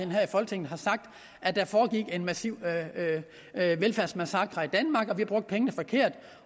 det her i folketinget har sagt at der foregik en massiv velfærdsmassakre i danmark at vi brugte pengene forkert